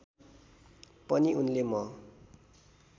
पनि उनले म